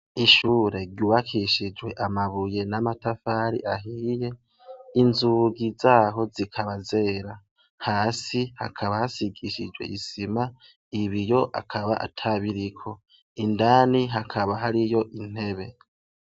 Ishure ryubakishijwe amabuye namatafari ahiye inzugi zaho zikaba zera hasi hakaba hasigishijwe isima ibiyo akaba atabiriko indana hakaba hariyo intebe